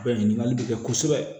Ɲininkali bɛ kɛ kosɛbɛ